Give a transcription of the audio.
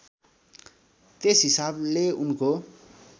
त्यस हिसाबले उनको